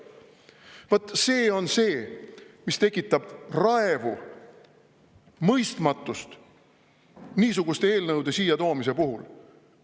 Vaat see on see, mis tekitab raevu, mõistmatust niisuguste eelnõude siia toomise puhul.